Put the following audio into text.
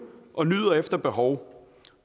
og nyder efter behov og